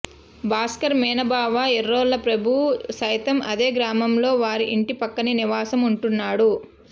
భాస్కర్ మేనబావ ఎర్రోల్ల ప్రభు సైతం అదే గ్రామంలో వారి ఇంటి పక్కనే నివాసం ఉంటున్నాడు